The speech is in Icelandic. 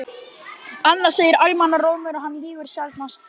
Annað segir almannarómur og hann lýgur sjaldnast.